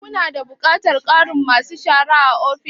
Ku na da buƙatar ƙarin ma su shara a ofis?